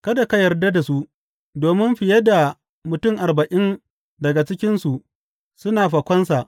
Kada ka yarda da su, domin fiye da mutum arba’in daga cikinsu suna fakonsa.